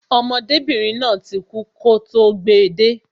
Ọmọdébìnrin náà ti kú kọ́ tó gbe de